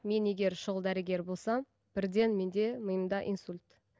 мен егер шұғыл дәрігер болсам бірден менде миымда инсульт